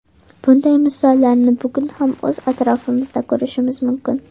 Bunday misollarni bugun ham o‘z atrofimizda ko‘rishimiz mumkin.